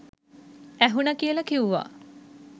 ඇහුනා කියල කිව්වා.